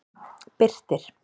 Birtir